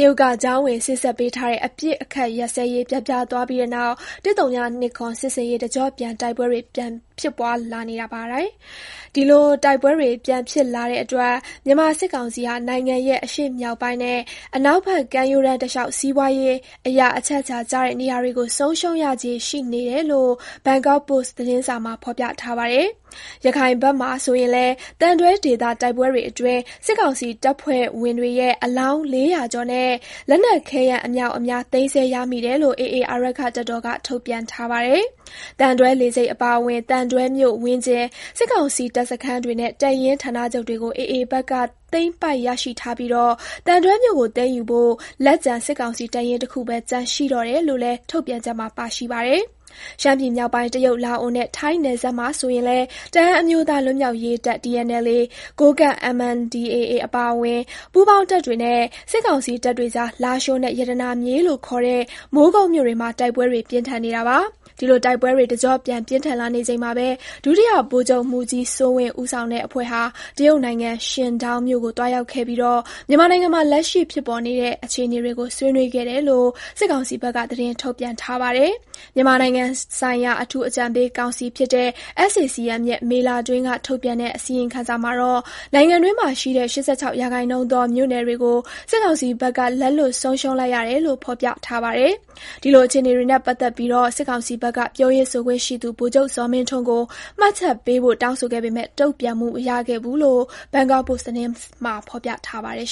ရုတ်က ကြားဝင်စေ့စပ်ပေးထားတဲ့ အပစ်အခတ်ရပ်စဲရေး ပျက်ပြားသွားပြီးတဲ့နောက် ၁၀၂၇ စစ်ဆင်ရေး တကျော့ပြန် တိုက်ပွဲတွေ ဖြစ်ပွားလာနေပါတယ်။ ဒီလို တိုက်ပွဲတွေပြန်ဖြစ်လာတဲ့အတွက် မြန်မာ စစ်ကောင်စီဟာ နိုင်ငံရဲ့ အရှေ့မြောက်ပိုင်းနဲ့ အနောက်ဘက် ကမ်းရိုးတမ်းတလျှောက် စီးပွားရေးအရ အချက်အချာကျတဲ့ နေရာတွေကို ဆုံးရှုံးရခြေ ရှိနေတယ်လို့ Bangkok Post သတင်းစာမှာ ဖော်ပြထားပါတယ်။ ရခိုင်ဘက်မှာဆိုရင်လည်း သံတွဲဒေသတိုက်ပွဲတွေအတွင်း စစ်ကောင်စီတပ်ဖွဲ့ဝင်တွေရဲ့ အလောင်း ၄၀၀ ကျော်နဲ့ လက်နက် ခဲယမ်း အမြောက်အများ သိမ်းဆည်းရမိတယ်လို့ AA အာရက္ခတပ်တော်က ထုတ်ပြန်ထားပါတယ်။ သံတွဲလေဆိပ်အပါအဝင် သံတွဲမြို့ဝန်းကျင် စစ်ကောင်စီတပ်စခန်းတွေနဲ့ တပ်ရင်းဌာနချုပ်တွေကို AA ဖက်က သိမ်းပိုက်ရရှိထားပြီး သံတွဲမြို့ကိုသိမ်းယူဖို့ လက်ကျန် စစ်ကောင်စီ တပ်ရင်းတခုပဲ ကျန်ရှိတော့တယ်လို့လည်း ထုတ်ပြန်ချက်မှာ ပါရှိပါတယ်။ ရှမ်းပြည်မြောက်ပိုင်း တရုတ်၊ လာအိုနဲ့ ထိုင်းနယ်စပ်မှာဆိုရင်လည်း တအန်းအမျိုးသား လွတ်မြောက် ရေးတပ် (TNLA)၊ ကိုးကန့် (MNDAA) အပါအဝင် ပူးပေါင်းတပ်တွေနဲ့ စစ်ကောင်စီတပ်တွေက လာရှိုးနဲ့ ရတနာမြေလို့ ခေါ်တဲ့ မိုးကုတ်မြို့တွေမှာတိုက်ပွဲတွေပြင်းထန်နေတာပါ။ ဒီလို တိုက်ပွဲတွေတကျော့ပြန်ပြင်းထန်လာနေချိန်မှာပဲ ဒုတိယ ဗိုလ်ချုပ်မှူးကြီး စိုးဝင်းဦးဆောင်တဲ့ အဖွဲ့ဟာ တရုတ်နိုင်ငံ Qingdao မြို့ကို သွားရောက်ခဲ့ပြီး မြန်မာနိုင်ငံမှာ လက်ရှိဖြစ်ပေါ်နေတဲ့ အခြေအနေတွေကို ဆွေးနွေးခဲ့တယ်လို့ စစ်ကောင်စီဘက်က သတင်း ထုတ်ပြန်ထားပါတယ်။ မြန်မာနိုင်ငံဆိုင်ရာ အထူးအကြံပေးကောင်စီဖြစ်တဲ့ SAC-M ရဲ့ မေလတွင်းက ထုတ်ပြန်တဲ့ အစီရင်ခံစာမှာတော့ နိုင်ငံတွင်းမှာရှိတဲ့ ၈၆ ရာခိုင်နှုန်းသောမြို့နယ်တွေကို စစ်ကောင်စီဘက်က လက်လွတ်ဆုံးရှုံးလိုက်ရတယ်လို့ ဖော်ပြထားပါတယ်။ ဒီလို အခြေအနေတွေနဲ့ ပတ်သက်ပြီး စစ်ကောင်စီဘက်က ပြောရေးဆိုခွင့်ရှိသူ ဗိုလ်ချုပ် ဇော်မင်းထွန်းကို မှတ်ချက်ပေးဖို့တောင်းဆိုခဲ့ပေမဲ့ တုံ့ပြန်မှု မရခဲ့ဘူးလို့လည်း Bangkok Post သတင်းမှာ ဖော်ပြထားပါတယ်